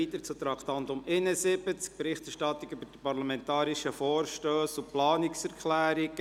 Wir kommen zum Traktandum 71, die Berichterstattung über Parlamentarische Vorstösse und Planungserklärungen.